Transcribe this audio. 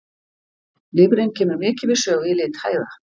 Lifrin kemur mikið við sögu í lit hægða.